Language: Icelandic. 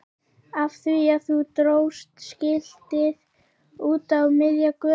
Af því að þú dróst skiltið út á miðja götu!